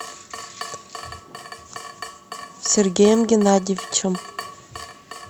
сергеем геннадьевичем